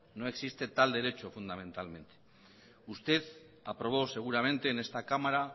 no existe tal derecho fundamentalmente usted aprobó seguramente en esta cámara